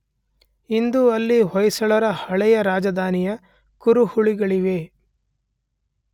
ಇಂದು ಅಲ್ಲಿ ಹೊಯ್ಸಳರ ಹಳೆಯ ರಾಜಧಾನಿಯ ಕುರುಹುಗಳಿವೆ.